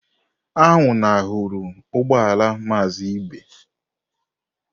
Anwụnahụrụ ugbọ ala Maazị Ibe.